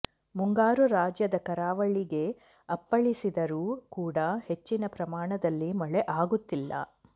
ಮುಂಗಾರು ರಾಜ್ಯದ ಕರಾವಳಿಗೆ ಅಪ್ಪಳಿಸಿದರೂ ಕೂಡಾ ಹೆಚ್ಚಿನ ಪ್ರಮಾಣದಲ್ಲಿ ಮಳೆ ಆಗುತ್ತಿಲ್ಲ